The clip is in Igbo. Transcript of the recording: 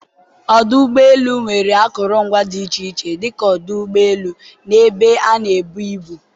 ọdụ ụgbọ elu nwere akụrụngwa dị iche iche dịka ọdụ ụgbọ elu, na ebe a na-ebu ibu.